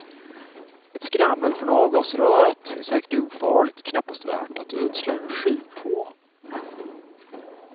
Ett skrammel från avgasröret är säkert ofarligt och knappast värt att ödsla energi på.